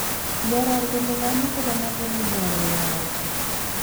Kioror kole komoche konai kole nee neyoongsei.